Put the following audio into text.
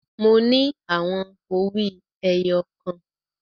Mo ní àwọn owí ẹyọ kan.